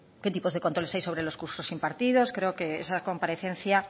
qué tipos de controles hay sobre los cursos impartidos creo que esa comparecencia